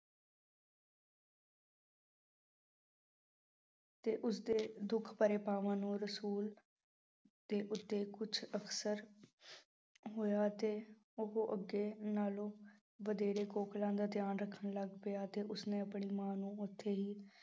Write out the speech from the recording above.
ਤੇ ਉਸਦੇ ਦੁੱਖ ਭਰੇ ਭਾਵਾਂ ਨੂੰ ਰਸੂਲ ਦੇ ਉੱਤੇ ਕੁਛ ਅਸਰ ਹੋਇਆ ਅਤੇ ਉਹ ਅੱਗੇ ਨਾਲੋਂ ਵਧੇਰੇ ਕੋਕਿਲਾ ਦਾ ਧਿਆਨ ਰੱਖਣ ਲੱਗ ਪਿਆ ਤੇ ਉਸਨੇ ਆਪਣੀ ਮਾਂ ਨੂੰ ਉੱਥੇ ਹੀ